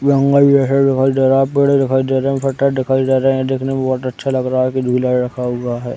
जंगल जो है दिखाई दे रहा है पेड़ दिखाई दे रहे है पत्ता दिखाई दे रहे है दिखने में बहोत अच्छा लग रहा है की झूला रखा हुआ है।